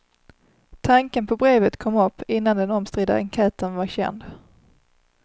Tanken på brevet kom upp innan den omstridda enkäten var känd.